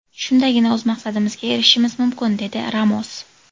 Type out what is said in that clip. Shundagina o‘z maqsadimizga erishishimiz mumkin” dedi Ramos.